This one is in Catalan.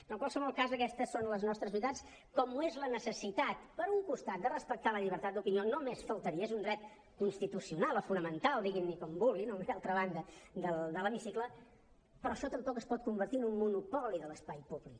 però en qualsevol cas aquestes són les nostres veritats com ho és la necessitat per un costat de respectar la llibertat d’opinió només faltaria és un dret constitucio nal o fonamental diguin ne com vulguin a una i altra banda de l’hemicicle però això tampoc es pot convertir en un monopoli de l’espai públic